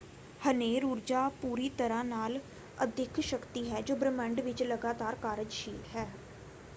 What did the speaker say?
ਹਨੇਰ ਊਰਜਾ ਪੂਰੀ ਤਰ੍ਹਾਂ ਨਾਲ ਅਦਿੱਖ ਸ਼ਕਤੀ ਹੈ ਜੋ ਬ੍ਰਹਿਮੰਡ ਵਿੱਚ ਲਗਾਤਾਰ ਕਾਰਜਸ਼ੀਲ ਹੈ।